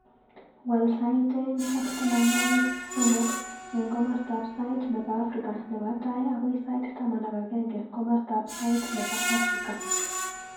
Waal sait aeng ak tamanwogik somok eng komostab sait nebo afrika nebo tai agoi sait taman ak agenge komostab sait nebo Afrika